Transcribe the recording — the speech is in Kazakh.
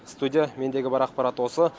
студия мендегі бар ақпарат осы